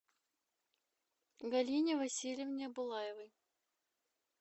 галине васильевне булаевой